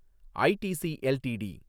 ITC LTD